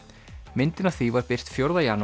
myndin af því var birt fjórða janúar